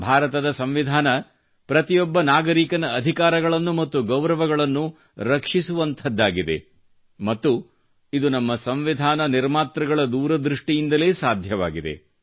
ಭಾರತದ ಸಂವಿಧಾನ ಪ್ರತಿಯೊಬ್ಬ ನಾಗರಿಕನ ಅಧಿಕಾರಗಳನ್ನು ಮತ್ತು ಗೌರವವನ್ನು ರಕ್ಷಿಸುವಂಥದ್ದಾಗಿದೆ ಮತ್ತು ಇದು ನಮ್ಮ ಸಂವಿಧಾನ ನಿರ್ಮಾತೃಗಳ ದೂರದೃಷ್ಠಿಯಿಂದಲೇ ಸಾಧ್ಯವಾಗಿದೆ